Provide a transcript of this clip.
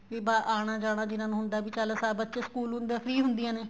ਵੀ ਆਣਾ ਜਾਣਾ ਜਿਹਨਾ ਨੂੰ ਹੁੰਦਾ ਹੈ ਵੀ ਚੱਲ ਬੱਚੇ school ਹੁੰਦੇ ਏ free ਹੁੰਦੀਆਂ ਨੇ